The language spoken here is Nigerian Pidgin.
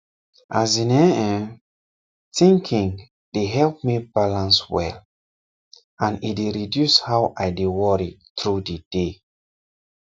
as in[um]ehn thinkink dey help me balance well and e dey reduce how i dey worry through the day